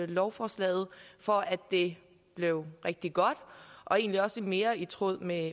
lovforslaget for at det bliver rigtig godt og egentlig også mere i tråd med